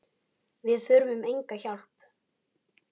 Við þurfum enga hjálp.